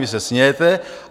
Vy se smějete.